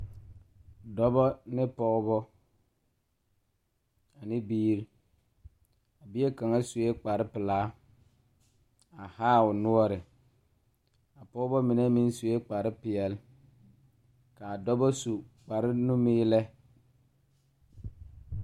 Dɔbɔ ne pɔɔbɔ ane biire a bie kaŋa suee kparepelaa a haa o noɔre a pɔɔbɔ mine meŋ suee kparepeɛle kaa dɔbɔ su kparenimiilɛ.